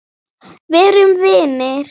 Verum vinir.